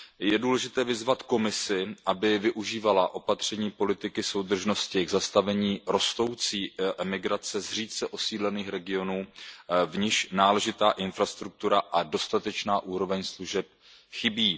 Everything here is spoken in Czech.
Je důležité vyzvat Komisi, aby využívala opatření politiky soudržnosti k zastavení rostoucí emigrace z řídce osídlených regionů, v níž náležitá infrastruktura a dostatečná úroveň služeb chybí.